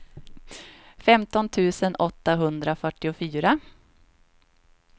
femton tusen åttahundrafyrtiofyra